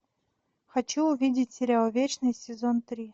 хочу увидеть сериал вечный сезон три